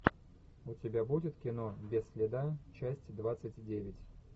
у тебя будет кино без следа часть двадцать девять